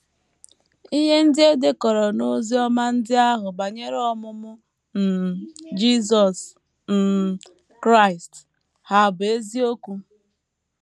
Ihe ndị e dekọrọ n’Oziọma ndị ahụ banyere ọmụmụ um Jisọs um Kraịst hà bụ́ eziokwu?